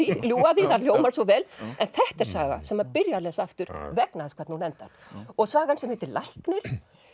ljúga það hljómar svo vel en þetta er saga sem byrja að lesa aftur vegna þess hvernig hún endar og sagan sem heitir læknir